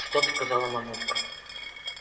стоп сказала мамулька